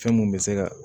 Fɛn mun bɛ se ka